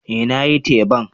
Eh nayi teban.